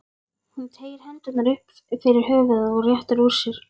Hún teygir hendurnar upp fyrir höfuðið og réttir úr sér.